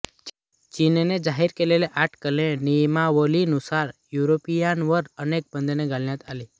चीनने जाहीर केलेल्या आठ कलमी नियमावलीनुसार युरोपीयांवर अनेक बंधने घालण्यात आली